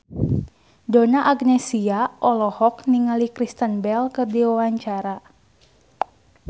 Donna Agnesia olohok ningali Kristen Bell keur diwawancara